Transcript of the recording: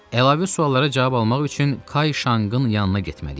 Əlavə suallara cavab almaq üçün Kay Şanqın yanına getməliyik.